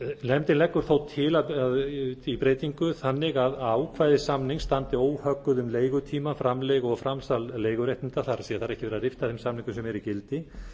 nefndin leggur þó til breytingu þannig að ákvæði samninga standi óhögguð um leigutíma framleigu og framsal leiguréttinda það er það er ekki verið að rifta þeim